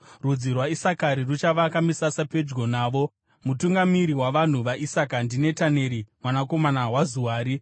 Rudzi rwaIsakari ruchavaka misasa pedyo navo. Mutungamiri wavanhu vaIsakari ndiNetaneri mwanakomana waZuari.